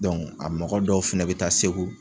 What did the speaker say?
a mɔgɔ dɔw fɛnɛ bɛ taa Segu.